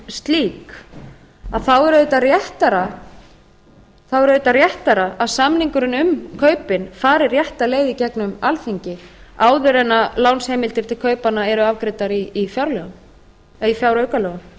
slík að þá er auðvitað réttara að samningurinn um kaupin fari rétta leið í gegnum alþingi áður en lánsheimildir til kaupanna eru afgreiddar í fjáraukalögum